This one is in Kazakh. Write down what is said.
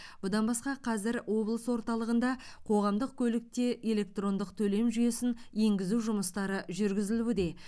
бұдан басқа қазір облыс орталығында қоғамдық көлікте электрондық төлем жүйесін енгізу жұмыстары жүргізілуде